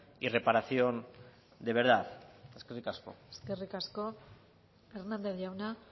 y reparación de verdad eskerrik asko eskerrik asko hernández jauna